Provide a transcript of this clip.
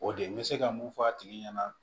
O de ye n bɛ se ka mun fɔ a tigi ɲɛna